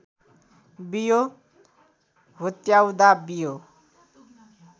बियो हुत्याउँदा बियो